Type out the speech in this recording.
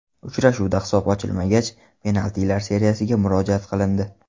Uchrashuvda hisob ochilmagach, penaltilar seriyasiga murojaat qilindi.